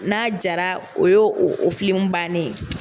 N'a jara o y'o o o bannen ye.